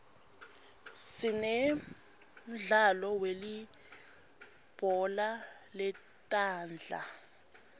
sinemdlalo welibhola letandla